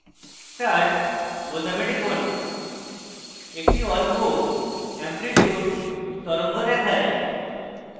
start বোতামে টিপুন একটি অল্প এম্প্লিটিউড তরঙ্গ দেখায়